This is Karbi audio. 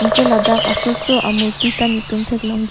anke ladak aso so amurti ta netum thek long ji.